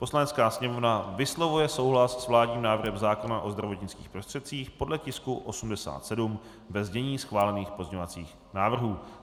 Poslanecká sněmovna vyslovuje souhlas s vládním návrhem zákona o zdravotnických prostředcích, podle tisku 87, ve znění schválených pozměňovacích návrhů."